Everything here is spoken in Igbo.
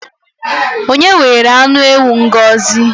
Onye were anụ ewu Ngọzi?